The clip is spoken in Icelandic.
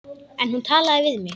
En hún talaði við mig.